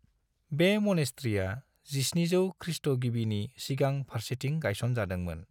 बे मनेस्त्रीया 1700 ख्रीष्ट' गिबिनि सिगां फारसेथिं गायसन जादोंमोन।